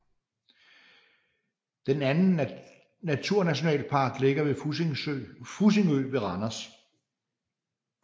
Den anden Naturnationalpark ligger ved Fussingø ved Randers